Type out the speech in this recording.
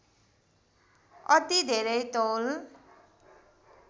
अति धेरै तौल